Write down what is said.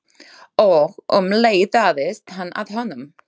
Og um leið dáðist hann að honum.